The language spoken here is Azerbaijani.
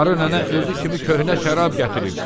Qarı nənə özü kimi köhnə şərab gətirib.